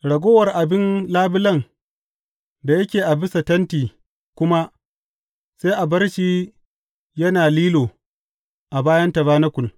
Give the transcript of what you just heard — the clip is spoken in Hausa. Ragowar rabin labulen da yake a bisa tenti kuma sai a bar shi yana lilo a bayan tabanakul.